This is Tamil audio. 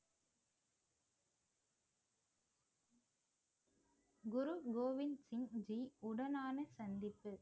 குரு கோவிந்த் சிங் ஜி உடனான சந்திப்பு